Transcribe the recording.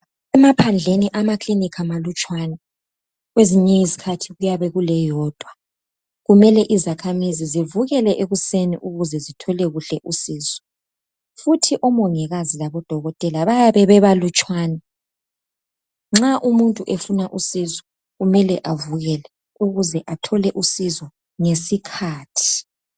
Emaphandleni amakilinika malutshwana. Kwezinye izikhathi kuyabe kuleyodwa. Kumele izakhamuzi zivukele ekuseni ukuze zithole kuhle usizo . Futhi omongikazi labodokotela bayabe bebalutshwane. Nxa umuntu efuna usizo kumele avukele ukuze athole usizo ngesikhathi.